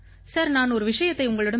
sir நான் ஒரு விஷயத்தை உங்களிடம்